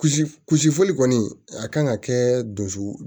Kulusi kulusi foli kɔni a kan ka kɛ dusu